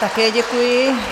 Také děkuji.